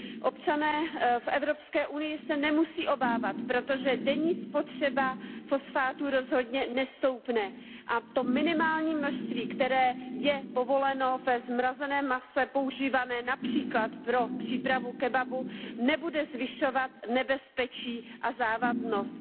Občané v Evropské unii se nemusí obávat, protože denní spotřeba fosfátu rozhodně nestoupne, a to minimální množství, které je povoleno ve zmrazeném mase používaném například pro přípravu kebabu, nebude zvyšovat nebezpečí a závadnost.